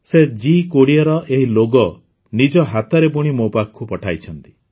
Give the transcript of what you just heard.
ସେ ଜି୨୦ର ଏହି ଲୋଗୋ ନିଜ ହାତରେ ବୁଣି ମୋ ପାଖକୁ ପଠାଇଛନ୍ତି